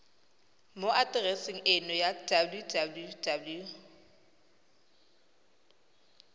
mo atereseng eno ya www